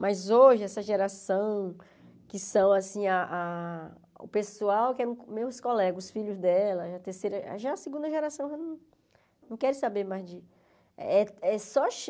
Mas hoje, essa geração que são assim, ah ah o pessoal que é meus colegas, os filhos dela, a terceira já a segunda geração não quer saber mais de é é só.